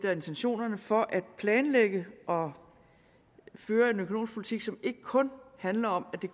er intentionerne for at planlægge og føre en økonomisk politik som ikke kun handler om